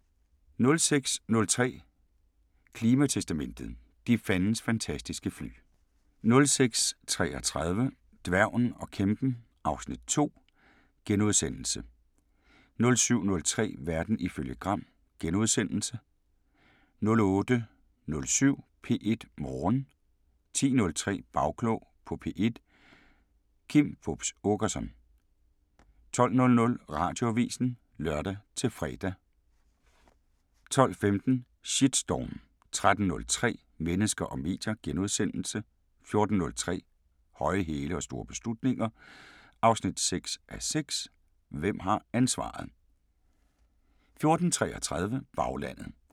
06:03: Klimatestamentet: De fandens fantastiske fly 06:33: Dværgen og kæmpen (Afs. 2)* 07:03: Verden ifølge Gram * 08:07: P1 Morgen 10:03: Bagklog på P1: Kim Fupz Aakerson 12:00: Radioavisen (lør-fre) 12:15: Shitstorm 13:03: Mennesker og medier * 14:03: Høje hæle og store beslutninger 6:6 – Hvem har ansvaret? 14:33: Baglandet